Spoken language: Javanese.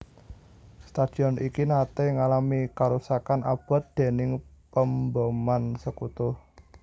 Stadion iki naté ngalami karusakan abot déning pemboman Sekutu